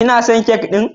Kina son kek ɗin?